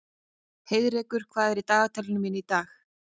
Heiðrekur, hvað er í dagatalinu mínu í dag?